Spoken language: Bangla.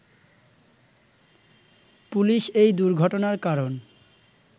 পুলিশ এই দুর্ঘটনার কারণ